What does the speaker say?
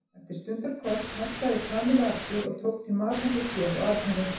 Eftir stundarkorn harkaði Kamilla af sér og tók til mat handa sér og Arnari.